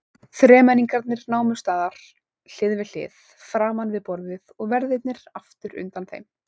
Þremenningarnir námu staðar hlið við hlið framan við borðið og verðirnir aftur undan þeim.